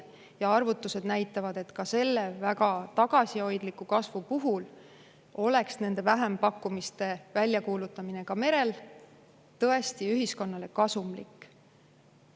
Ja arvutused näitavad, et ka selle väga tagasihoidliku kasvu puhul oleks vähempakkumiste väljakuulutamine ka mere tõesti ühiskonnale kasumlik.